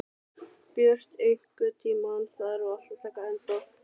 Björt, einhvern tímann þarf allt að taka enda.